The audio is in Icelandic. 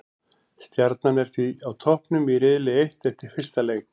Stjarnan er því á toppnum í riðli eitt eftir fyrsta leik.